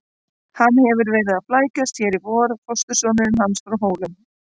Hann hefur verið að flækjast hér í vor, fóstursonurinn hans frá Hólum.